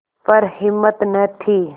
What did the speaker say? पर हिम्मत न थी